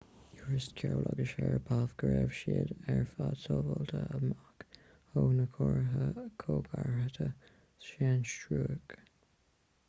thuairisc chiao agus sharipov go raibh siad ar fhad sábháilte amach ó na ceartaitheoirí coigeartaithe sainstiúrach